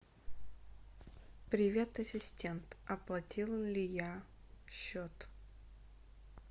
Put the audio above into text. привет ассистент оплатила ли я счет